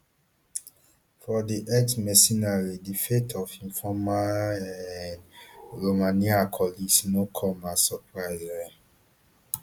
for di exmercenary di fate of im former um um romanian colleagues no come as surprise um